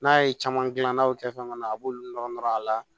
N'a ye caman gilan n'aw kɛ fɛn kɔnɔ a b'olu nɔrɔ nɔrɔ a la